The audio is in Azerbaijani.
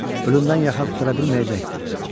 Ölümdən yaxa qurtara bilməyəcəkdi.